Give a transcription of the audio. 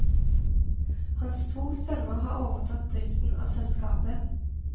Hans to sønner har overtatt driften av selskapet.